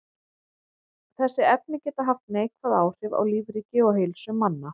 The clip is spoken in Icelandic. Þessi efni geta haft neikvæð áhrif á lífríki og heilsu manna.